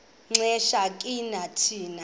xesha ke thina